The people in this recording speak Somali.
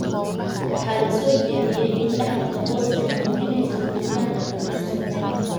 Waxaa la soo jeediyay in dhaxalka BOS ay muujinayso gelitaan aan dhammaystirnayn.